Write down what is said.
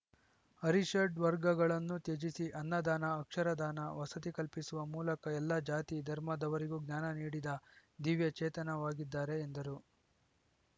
ಅರಿಷಡ್ವರ್ಗಗಳನ್ನು ತ್ಯಜಿಸಿ ಅನ್ನದಾನ ಅಕ್ಷರ ದಾನ ವಸತಿ ಕಲ್ಪಿಸುವ ಮೂಲಕ ಎಲ್ಲಾ ಜಾತಿ ಧರ್ಮದವರಿಗೂ ಜ್ಞಾನ ನೀಡಿದ ದಿವ್ಯ ಚೇತನವಾಗಿದ್ದಾರೆ ಎಂದರು